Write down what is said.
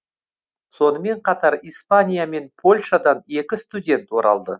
сонымен қатар испания мен польшадан екі студент оралды